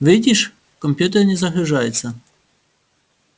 видишь компьютер не загружается